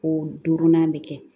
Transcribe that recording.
O duurunan bɛ kɛ